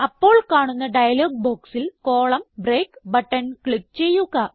അപ്പോൾ കാണുന്ന ഡയലോഗ് ബോക്സിൽ കോളം ബ്രേക്ക് ബട്ടൺ ക്ലിക്ക് ചെയ്യുക